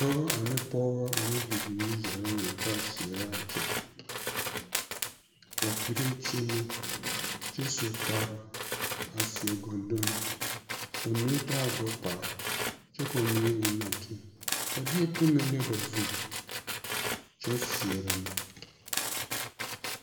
Dɔbɔ ane pɔgebɔ ane bibiiri zaa la lantaa seɛrɛ a kyɛ ba piree kyeemɛ kyɛ su kpare a seɛ gondonni ba mine taa gbɛkpala kyɛ k'o mine eŋ nɔɔteɛ ba deɛ pɛmɛ le ba zu kyɛ seɛrɛ ne.